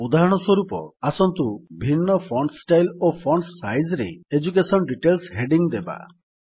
ଉଦାହରଣସ୍ୱରୂପ ଆସନ୍ତୁ ଭିନ୍ନ ଫଣ୍ଟ୍ ଷ୍ଟାଇଲ୍ ଓ ଫଣ୍ଟ୍ ସାଇଜ୍ ରେ ଏଡୁକେସନ ଡିଟେଲ୍ସ ହେଡିଙ୍ଗ୍ ଦେବା